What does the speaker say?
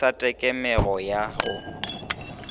e sa tekemego ya go